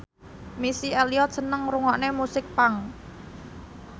Missy Elliott seneng ngrungokne musik punk